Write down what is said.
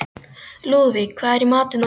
Lúðvík, hvað er í matinn á miðvikudaginn?